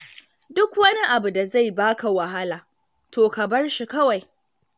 Duk wani abu da zai ba ka wahala, to ka bar shi kawai.